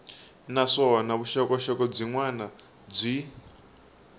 naswona vuxokoxoko byin wana byi